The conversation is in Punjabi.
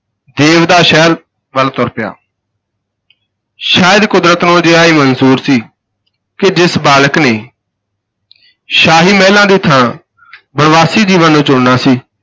ਦੇਵਦਾਹ ਸ਼ਹਿਰ ਵੱਲ ਤੁਰ ਪਿਆ ਸ਼ਾਇਦ ਕੁਦਰਤ ਨੂੰ ਅਜਿਹਾ ਮਨਜ਼ੂਰ ਸੀ ਕਿ ਜਿਸ ਬਾਲਕ ਨੇ ਸ਼ਾਹੀ ਮਹਿਲਾਂ ਦੀ ਥਾਂ ਬਣਵਾਸੀ ਜੀਵਨ ਨੂੰ ਚੁਣਨਾ ਸੀ,